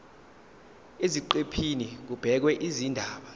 eziqephini kubhekwe izindaba